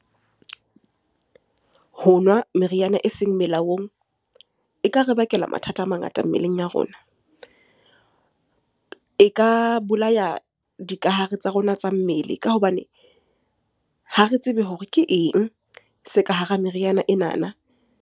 Ho nwa meriana e seng melaong e ka re bakela mathata a mangata mmeleng ya rona. E ka bolaya dikahare tsa rona tsa mmele ka hobane ha re tsebe hore ke eng se ka hara meriana enana.